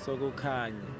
sokukhanya